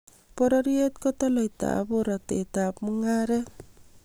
Bororyet ko toloitab borotet ab mung'aret